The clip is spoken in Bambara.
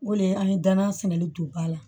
O le an ye danna sɛnɛli don ba la